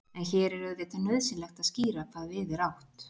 en hér er auðvitað nauðsynlegt að skýra hvað við er átt